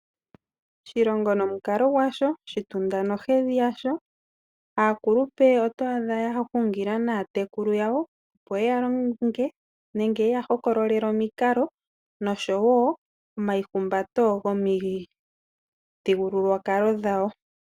Oshilongo nomukalo gwasho, oshitunda nohedhi yasho. Aaakulupe oto adha ya hungila naatekulu yawo, opo ye ya longe noku ya hokololela omikalo osho woo omaihumbato gomo mithigululwakalo dhawo.